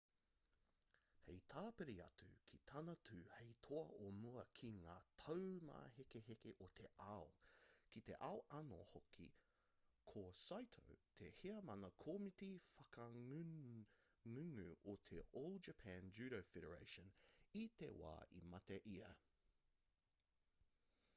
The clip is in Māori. hei tāpiri atu ki tana tū hei toa o mua ki ngā taumāhekeheke o te ao ki te ao anō hoki ko saito te heamana komiti whakangungu o te all japan judo federation i te wā i mate ia